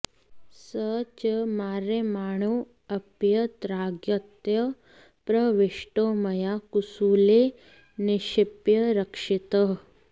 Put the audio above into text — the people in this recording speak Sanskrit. स च मार्यमाणोऽप्यत्रागत्य प्रविष्टो मया कुसूले निक्षिप्य रक्षितः